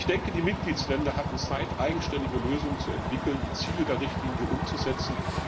Ich denke, die Mitgliedstaaten hatten Zeit, eigenständige Lösungen zu entwickeln, um die Ziele der Richtlinie umzusetzen.